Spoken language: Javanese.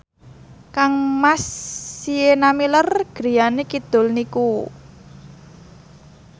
kangmas Sienna Miller griyane kidul niku